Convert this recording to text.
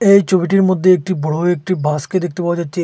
এই ছবিটির মধ্যে একটি বড় একটি বাসকে দেখতে পাওয়া যাচ্ছে।